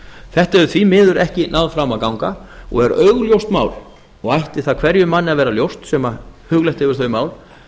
þetta hefur því miður ekki náð fram að ganga og er augljóst mál og ætti það hverjum manni að vera ljóst sem hugleitt hefur þau mál